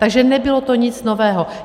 Takže nebylo to nic nového.